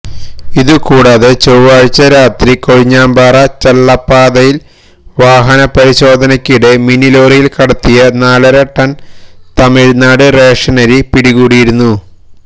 ഇതു കൂടാതെ ചൊവാഴ്ച്ച രാത്രി കൊഴിഞ്ഞാമ്പാറ ചള്ളപ്പാതയില് വാഹന പരിശോധനക്കിടെ മിനിലോറിയില് കടത്തിയ നാലര ടണ് തമിഴ്നാട് റേഷനരി പിടികൂടിയിരുന്നു